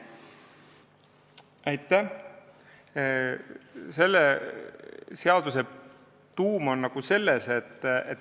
Aitäh!